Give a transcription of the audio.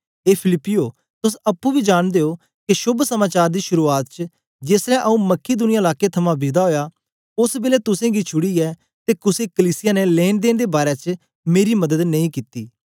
ए फिलिप्पियो तोस अप्पुं बी जांनदे ओ के शोभ समाचार दी शुरुआत च जेसलै आऊँ मकिदुनिया लाके थमां विदा ओया ओस बेलै तुसेंगी छुड़ीयै ते कुसे कलीसिया ने लेनेदेने दे बारै च मेरी मदद नेई कित्ती